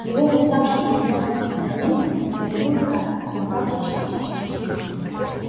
его восставший из мёртвых организм восстановил ткани но как-то частично